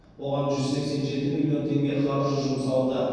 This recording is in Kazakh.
оған жүз сексен жеті миллион теңге қаржы жұмсалды